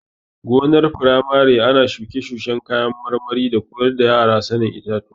Gonar firamare ana shuke-shuken kayan marmari da koyar da yara sanin itatuwa.